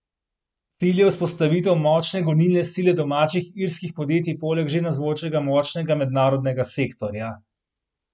Cilj je vzpostavitev močne gonilne sile domačih irskih podjetij poleg že navzočega močnega mednarodnega sektorja.